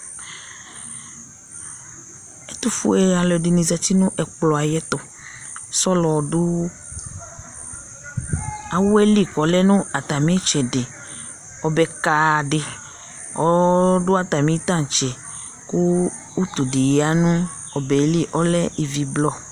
ɛtufue alò ɛdini zati no ɛkplɔ ayi ɛto sɔlɔ du awɛ li k'ɔlɛ no atami itsɛdi ɔbɛ ka di ɔdu atami tantse kò utu di ya no ɔbɛ yɛ li ɔlɛ ivi blɔ